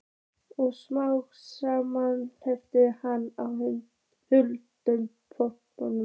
Smátt og smátt þreyttist hann á hlaupunum.